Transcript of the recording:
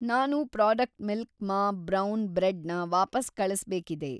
ನಾನು product milk ಮಾ brown bread ನ ವಾಪಸ್‌ ಕಳಿಸ್ಬೇಕಿದೆ.